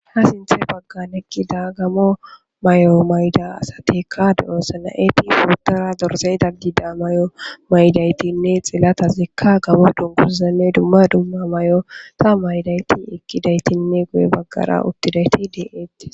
ha sinthe baggan ekkida gamo may7o mayda asatikka de7osana7eti puuttora dorzey da gida may7o maydaytinne xilata zikka gamo dunkuzane dumma dumma may7o ta maydayti ekkidaytinne goye baggara uttidayti de7etti